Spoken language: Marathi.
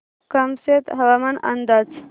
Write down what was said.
कामशेत हवामान अंदाज